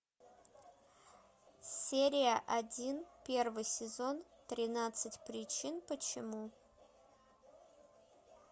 серия один первый сезон тринадцать причин почему